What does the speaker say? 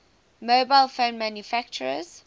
mobile phone manufacturers